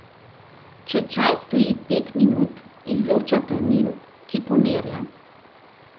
Če čaj stoji pet minut, izloča tanin, ki pomirja.